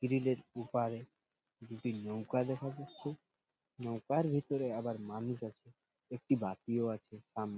গিরিল ওপারে দুটি নৌকা দেখা যাচ্ছে নৌকার ভেতরে আবার মানুষ আছে একটি বাতিও আছে সামনে।